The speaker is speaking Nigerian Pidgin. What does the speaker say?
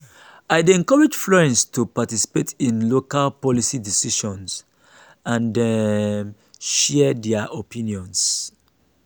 i dey encourage friends to participate in local policy discussions and um share their opinions.